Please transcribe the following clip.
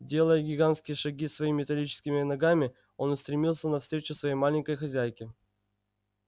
делая гигантские шаги своими металлическими ногами он устремился навстречу своей маленькой хозяйке